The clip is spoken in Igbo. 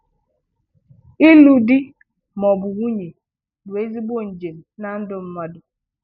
Ịlụ di ma ọ bụ nwunye bụ ezìgbo njem n’ndù̀ mmadụ.